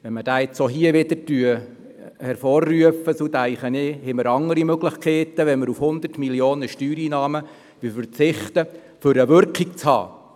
Wenn dieser auch hier wieder hervorgerufen wird, denke ich, hätten wir andere Möglichkeiten, als auf 100 Mio. Franken Steuereinnahmen zu verzichten und damit eine Wirkung zu erzielen.